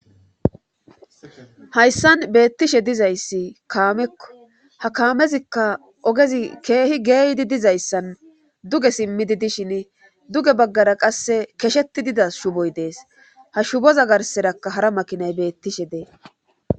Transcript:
hayssan beettishe dizayssi kaamekko ha kaamezikka ogezi keehi geeydi dizayssan duge simmidi dishin duge baggara qasse kesheti dida shuboy dees ha shuboza garserakka hara makinay beettishe des